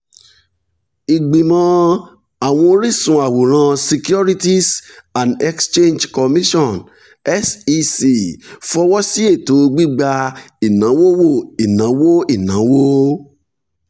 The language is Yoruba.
ìgbìmọ̀ àwọn oríṣun àwòrán securities and exchange commission (sec) fọwọ́ sí ètò gbígba ìnáwówó ìnáwó ìnáwó